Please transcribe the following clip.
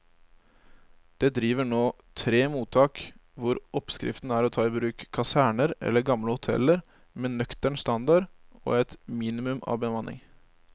Det driver nå tre mottak hvor oppskriften er å ta i bruk kaserner eller gamle hoteller med nøktern standard og et minimum av bemanning.